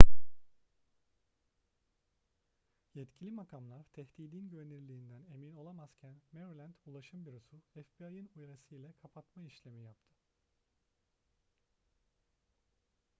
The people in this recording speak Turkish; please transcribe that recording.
yetkili makamlar tehdidin güvenirliğinden emin olamazken maryland ulaşım bürosu fbi'ın uyarısı ile kapatma işlemi yaptı